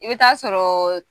I bɛ taa sɔrɔɔɔ